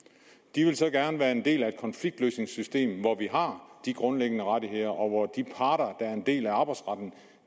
de vil gerne være en del af et konfliktløsningssystem hvor vi har de grundlæggende rettigheder og hvor de parter der er en del af arbejdsretten